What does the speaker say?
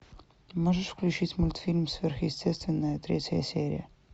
можешь включить мультфильм сверхъестественное третья серия